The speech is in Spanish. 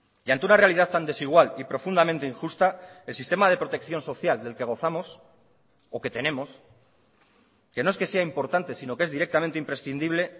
y ante una realidad tan desigual y profundamente injusta el sistema de protección social del que gozamos o que tenemos que no es que sea importante sino que es directamente imprescindible